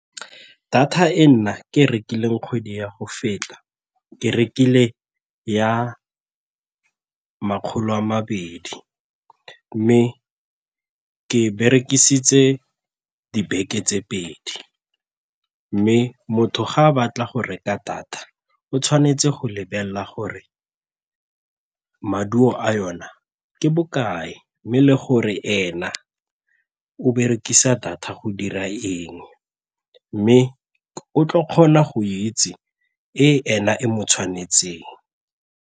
Data e nna ke rekileng kgwedi ya go feta ke rekile ya makgolo a mabedi mme ke berekisitse dibeke tse pedi. Mme motho ga a batla go reka data, o tshwanetse go lebelela gore maduo a yona ke bokae mme le gore ena o berekisa data go dira eng mme o tlo kgona go itse e ena e mo tshwanetseng.